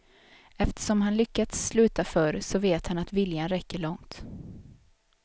Eftersom han lyckats sluta förr så vet han att viljan räcker långt.